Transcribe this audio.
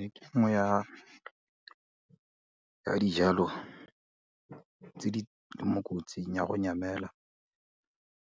Ee ke nngwe ya dijalo tse di mo kotsing ya go nyamela,